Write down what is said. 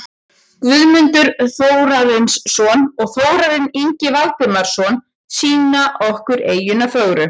Guðmundur Þórarinsson og Þórarinn Ingi Valdimarsson sýna okkur eyjuna fögru.